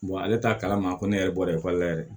ale t'a kalama ko ne yɛrɛ bɔra ekɔli la yɛrɛ